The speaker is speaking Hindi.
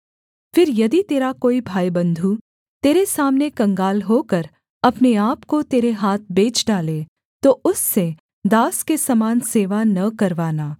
फिर यदि तेरा कोई भाईबन्धु तेरे सामने कंगाल होकर अपने आपको तेरे हाथ बेच डाले तो उससे दास के समान सेवा न करवाना